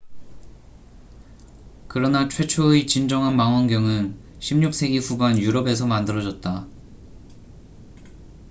그러나 최초의 진정한 망원경은 16세기 후반 유럽에서 만들어졌다